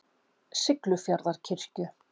Siglufjarðarkirkju